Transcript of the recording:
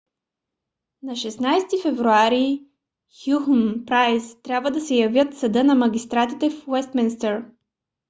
на 16 февруари хюхн и прайс трябва да се явят в съда на магистратите в уестминстър